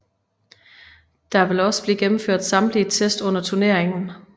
Der vil også blive gennemført samtlige test under turneringen